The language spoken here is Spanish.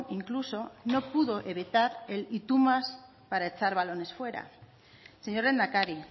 incluso no pudo evitar el y tu más para echar balones fuera señor lehendakari